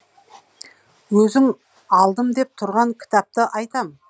өзің алдым деп тұрған кітапты айтам